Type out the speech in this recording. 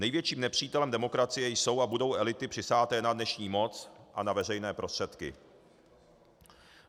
Největším nepřítelem demokracie jsou a budou elity přisáté na dnešní moc a na veřejné prostředky.